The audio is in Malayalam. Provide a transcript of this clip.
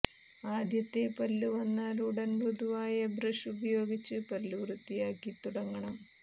ആദ്യത്തെ പല്ലു വന്നാൽ ഉടൻ മൃദുവായ ബ്രഷ് ഉപയോഗിച്ച് പല്ലു വൃത്തിയാക്കി തുടങ്ങണം